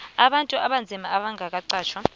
abantu abanzima abangakaqatjhwa